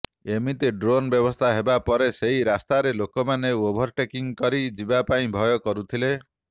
ଏମିତିକି ଡ୍ରୋନ୍ର ବ୍ୟବସ୍ଥା ହେବା ପରେ ସେହି ରାସ୍ତାରେ ଲୋକମାନେ ଓଭରଟେକିଂ କରି ଯିବା ପାଇଁ ଭୟ କରୁଥିଲେ